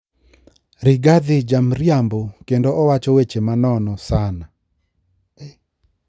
Rigathi jamriambo kendo wacho weche ma nono sana